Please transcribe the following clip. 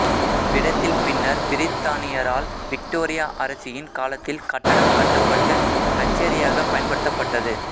அவ்விடத்தில் பின்னர் பிரித்தானியரால் விக்டோரியா அரசியின் காலத்தில் கட்டடம் கட்டப்பட்டு கச்சேரியாகப் பயன்படுத்தப்பட்டது